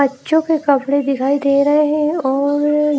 बच्चों के कपड़े दिखाई दे रहे हैं और--